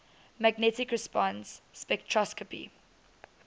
magnetic resonance spectroscopy